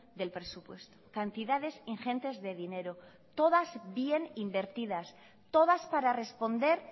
del presupuesto cantidades ingentes de dinero todas bien invertidas todas para responder